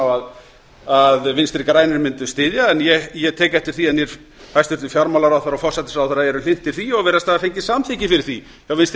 á að vinstri grænir mundu átta styðja en ég tek eftir því að hæstvirtur fjármálaráðherra og forsætisráðherra eru hlynntir því og virðast hafa fengið samþykki fyrir því hjá vinstri